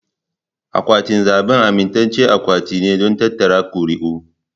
Akwatin zabe amintaccen akwati ne don tattara ƙuri'u.